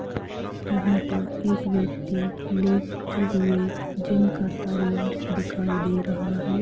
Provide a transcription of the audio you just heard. यहाँ पर एक व्यक्ति लेटते हुए जिम करता हुआ दिखाई दे रहा है।